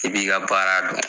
I b'i ka baara dɔn